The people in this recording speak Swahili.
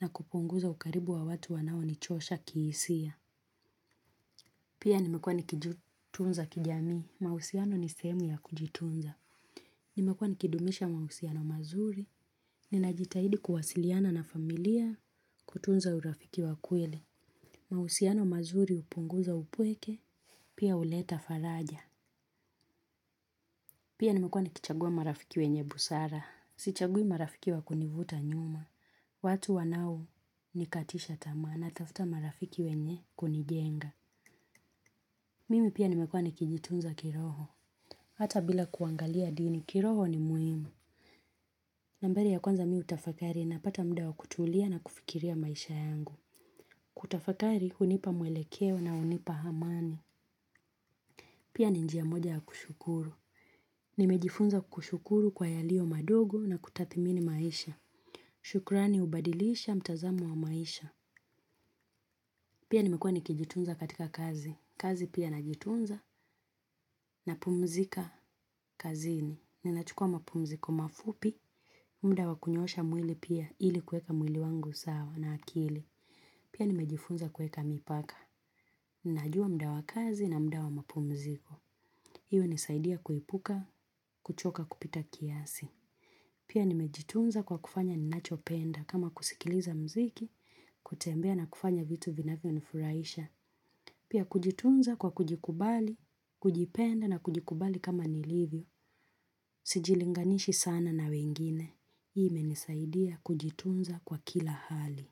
na kupunguza ukaribu wa watu wanao nichosha kihisia. Pia nimekuwa nikijutunza kijami. Mahusiano ni sehemu ya kujitunza. Nimekuwa nikidumisha mahusiano mazuri. Ninajitahidi kuwasiliana na familia kutunza urafiki wa kweli. Mahusiano mazuri upunguza upweke. Pia uleta faraja. Pia nimekuwa nikichagua marafiki wenye busara. Sichagui marafiki wa kunivuta nyuma. Watu wanao nikatisha tamaa na tafuta marafiki wenye kunijenga. Mimi pia nimekuwa nikijitunza kiroho. Hata bila kuangalia dini kiroho ni muhimu. Nambari ya kwanza mimi hutafakari na pata muda wa kutulia na kufikiria maisha yangu. Kutafakari hunipa muelekeo na hunipa amani. Pia ni njia moja ya kushukuru. Nimejifunza kushukuru kwa yalio madogo na kutathimini maisha. Shukurani ubadilisha mtazamo wa maisha. Pia nimekua nikijitunza katika kazi. Kazi pia najitunza na pumzika kazini. Ninachukua mapumziko mafupi. Muda wa kunyosha mwili pia ili kuweka mwili wangu sawa na akili. Pia nimejifunza kuweka mipaka. Ninajua muda wa kazi na muda wa mapumziko hii hunisaidia kuepuka, kuchoka kupita kiasi. Pia nimejitunza kwa kufanya ninachopenda. Kama kusikiliza mziki, kutembea na kufanya vitu vinavyo nifuraisha. Pia kujitunza kwa kujikubali, kujipenda na kujikubali kama nilivyo. Sijilinganishi sana na wengine. Ime nisaidia kujitunza kwa kila hali.